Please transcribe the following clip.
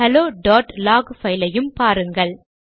ஹெலோlog பைலையும் பாருங்கள்